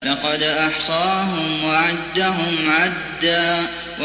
لَّقَدْ أَحْصَاهُمْ وَعَدَّهُمْ عَدًّا